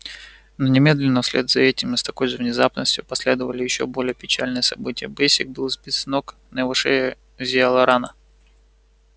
но немедленно вслед за этим и с такой же внезапностью последовали ещё более печальные события бэсик был сбит с ног на его шее зияла рана